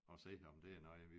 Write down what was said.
Og se om det er noget